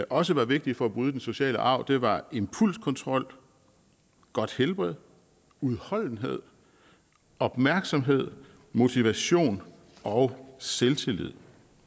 også var vigtige for at bryde den negative sociale arv var impulskontrol godt helbred udholdenhed opmærksomhed motivation og selvtillid